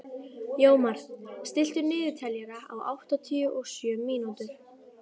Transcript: Jómar, stilltu niðurteljara á áttatíu og sjö mínútur.